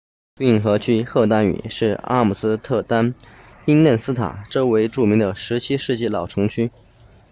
运河区荷兰语 grachtengordel 是阿姆斯特丹宾嫩斯塔 binnenstad 周围著名的17世纪老城区